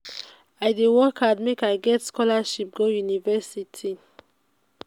i dey work hard make i get scholarship go university.